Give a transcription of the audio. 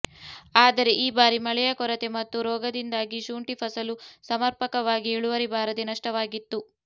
ಆದರೆ ಈ ಬಾರಿ ಮಳೆಯ ಕೊರತೆ ಮತ್ತು ರೋಗದಿಂದಾಗಿ ಶುಂಠಿ ಫಸಲು ಸಮರ್ಪಕವಾಗಿ ಇಳುವರಿ ಬಾರದೆ ನಷ್ಟವಾಗಿತ್ತು